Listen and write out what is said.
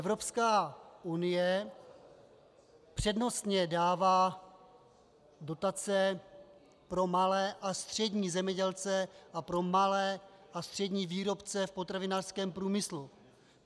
Evropská unie přednostně dává dotace pro malé a střední zemědělce a pro malé a střední výrobce v potravinářském průmyslu.